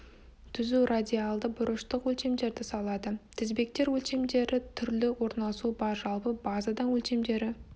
түзу радиальді бұрыштық өлшемдерді салады тізбектер өлшемдері түрлі орналасуы бар жалпы базадан өлшемдері